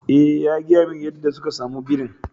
Eh, ya gaya mani yadda suka samu birin.